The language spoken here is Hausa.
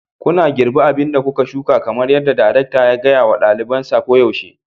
Kuna girbi abin da kuka shuka kamar yadda darekta ya gaya wa ɗalibansa koyaushe.